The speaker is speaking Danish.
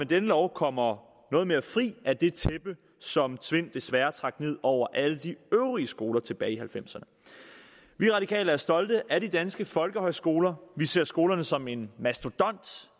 denne lov kommer noget mere fri af det tæppe som tvind desværre trak ned over alle de øvrige skoler tilbage i nitten halvfemserne vi radikale er stolte af de danske folkehøjskoler vi ser skolerne som en mastodont